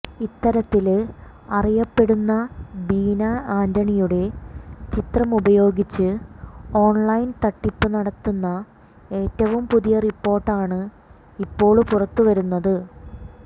ഇത്തരത്തില് അറിയപ്പെടുന്ന ബീന ആന്റണിയുടെ ചിത്രമുപയോഗിച്ച് ഓണ്ലൈന് തട്ടിപ്പ് നടത്തുന്ന ഏറ്റവും പുതിയ റിപ്പോര്ട്ടാണ് ഇപ്പോള് പുറത്ത് വരുന്നത്